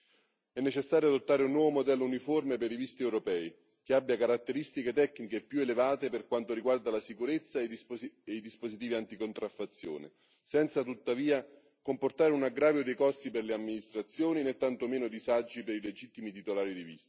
È necessario adottare un nuovo modello uniforme per i visti europei, che abbia caratteristiche tecniche più elevate per quanto riguarda la sicurezza e i dispositivi anticontraffazione, senza tuttavia comportare un aggravio dei costi per le amministrazioni, né tantomeno disagi per i legittimi titolari di visti.